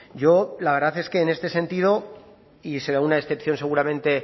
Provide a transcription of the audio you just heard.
yo la verdad es que en este sentido y será una excepción seguramente